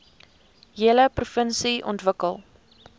hele provinsie ontwikkel